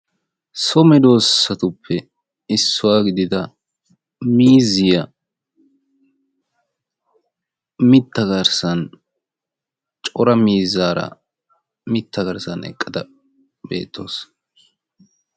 So meedosatuppe issuwaa gidida miizziyaa mitta garssan cora miizzaara mitta garssan eqqada beettawus.